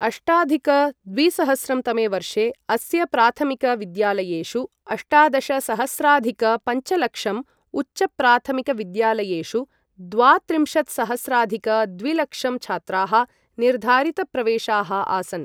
अष्टाधिक द्विसहस्रं तमे वर्षे अस्य प्राथमिकविद्यालयेषु अष्टादशसहस्राधिक पञ्चलक्षं, उच्चप्राथमिकविद्यालयेषु द्वात्रिंशत्सहस्राधिक द्विलक्षं छात्राः निर्धारितप्रवेशाः आसन्।